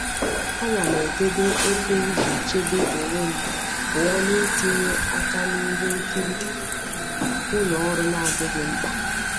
Ana m edebe oke iji chebe onwe m pụọ na itinye aka na ihe nkiri ụlọ ọrụ na adịghị mkpa.